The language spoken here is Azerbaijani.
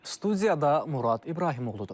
Studiyada Murad İbrahimoğludur.